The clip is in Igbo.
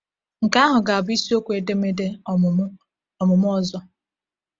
Nke ahụ ga-abụ isiokwu edemede ọmụmụ ọmụmụ ọzọ.